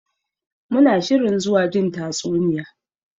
Muna shirin zuwa jin tatsuniya.